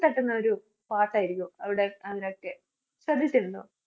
തട്ടുന്നൊരു പാട്ടായിരിക്കും അവിടെ . ശ്രദ്ധിച്ചിട്ടുണ്ടോ?